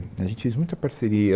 A gente fez muita parceria.